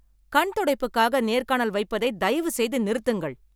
கண்துடைப்புக்காக நேர்காணல் வைப்பதை தயவு செய்து நிறுத்துங்கள்.